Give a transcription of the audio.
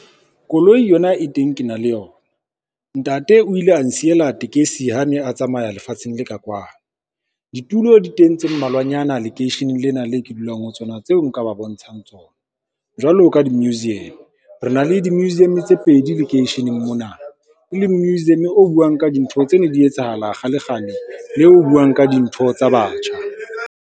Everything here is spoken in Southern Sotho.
Koloi yona e teng ke na le yona. Ntate o ile a nsiele tekesi ha a ne a tsamaya lefatsheng le ka kwano. Ditulo di teng tse mmalwanyana lekeisheneng lena leo ke dulang ho tsona, tseo nka ba bontshang ho tsona. Jwalo ka di-museum, re na le di-museum tse pedi lekeisheneng mona, e leng museum o buang ka dintho tse ne di etsahala kgalekgale le o buang ka dintho tsa batjha.